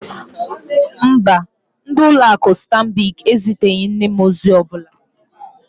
Mba, ndị ụlọ akụ Stanbic eziteghị nne m ozi ọ bụla.